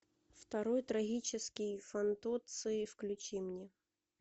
второй трагический фантоцци включи мне